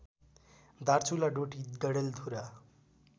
Darchula Doti Dadeldhura